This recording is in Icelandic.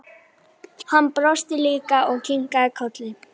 Hann brosti líka og kinkaði kolli.